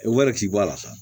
Wari t'i bɔ a la sa